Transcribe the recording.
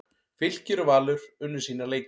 Fylkir og Valur unnu sína leiki